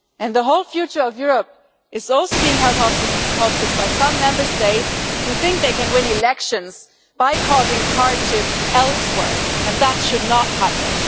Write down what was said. The whole future of Europe is also being held hostage by some Member States who think they can win elections by causing hardship elsewhere, and that should not happen.